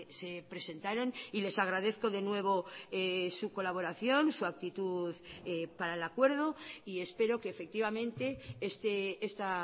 se presentaron y les agradezco de nuevo su colaboración su actitud para el acuerdo y espero que efectivamente esta